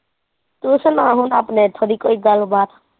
ਤੂੰ ਸੁਣਾ ਹੁਣ ਆਪਣੇ ਇੱਥੋਂ ਦੀ ਕੋਈ ਗਲਬਾਤ।